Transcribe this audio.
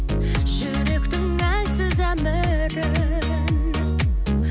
жүректің әлсіз әмірін